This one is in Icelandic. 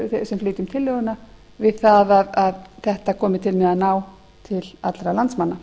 flytjum tillöguna við það að þetta komi til með að ná til allra landsmanna